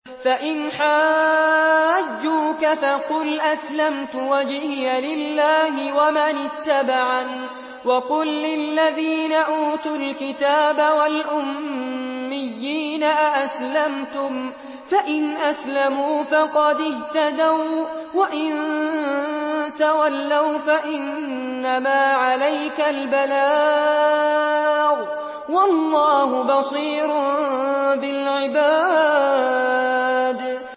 فَإِنْ حَاجُّوكَ فَقُلْ أَسْلَمْتُ وَجْهِيَ لِلَّهِ وَمَنِ اتَّبَعَنِ ۗ وَقُل لِّلَّذِينَ أُوتُوا الْكِتَابَ وَالْأُمِّيِّينَ أَأَسْلَمْتُمْ ۚ فَإِنْ أَسْلَمُوا فَقَدِ اهْتَدَوا ۖ وَّإِن تَوَلَّوْا فَإِنَّمَا عَلَيْكَ الْبَلَاغُ ۗ وَاللَّهُ بَصِيرٌ بِالْعِبَادِ